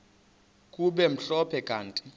kube mhlophe kanti